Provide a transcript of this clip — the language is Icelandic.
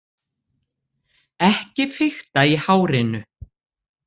Ekki fikta í hárinu!